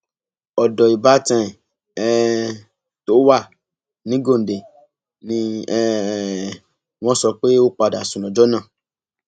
ọdọ ìbátan ẹ um tó wà nìgòńdè ni um wọn sọ pé ó padà sùn lọjọ náà